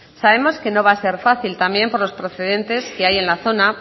sabemos que no va a ser fácil también por los precedentes que hay en la zona